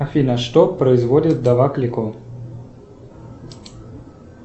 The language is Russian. афина что производит вдова клико